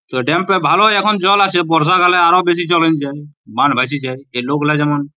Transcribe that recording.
তো ড্যাম্পে ভালোই এখন জল আছে | বর্ষা কালে আরো বেশি জল হয়ে যায় বান ভেসে যায় এই লোকগুলা যেমন --